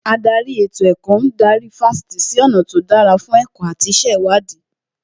Ádárì ètò ẹ̀kọ́ ń darí Fásitì sí ọ̀nà tó dára fún ẹ̀kọ́ àti ìṣèwádìí